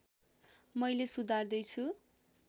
मैले सुधार्दै छु